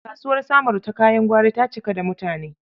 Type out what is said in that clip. Kasuwar Samaru ta kayan gwari ta cika da mutane.